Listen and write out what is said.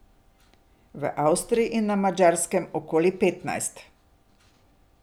V Avstriji in na Madžarskem okoli petnajst.